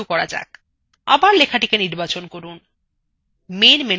আবার লেখাটি নির্বাচন করুন